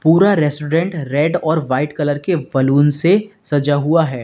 पूरा restaurant red और white colour के बलून से सजा हुआ है।